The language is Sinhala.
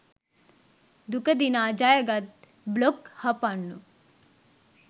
දුක දිනා ජයගත් බ්ලොග් හපන්නු